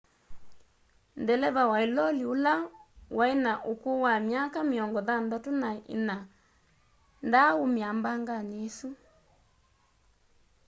deleva wa ĩloli ũla wa ĩna ũkũũ wa myaka mĩongo thanthatũ na ĩna ndaa ũmĩĩa mbanganĩ ĩsũ